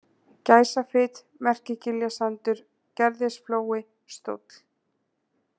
Gæsafit, Merkigiljasandur, Gerðisflói, Stóll